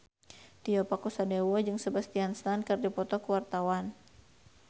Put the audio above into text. Tio Pakusadewo jeung Sebastian Stan keur dipoto ku wartawan